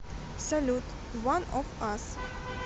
салют уан оф ас